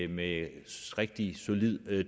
med rigtig solid